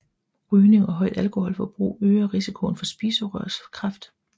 Rygning og højt alkoholforbrug øger risikoen for spiserørskræft